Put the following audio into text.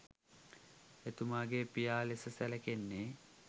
එතුමාගේ පියා ලෙස සැලකෙන්නේ